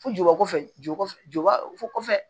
Fo jɔba kɔfɛ jɔ ba fɔ fɔ kɔfɛ kɔfɛ